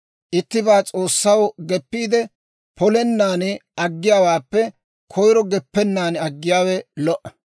Ittibaa S'oossaw geppiide, polennan aggiyaawaappe koyiro geppennaan aggiyaawe lo"a.